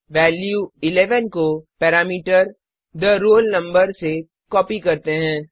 value 11 को parameter the roll number से copy करते हैं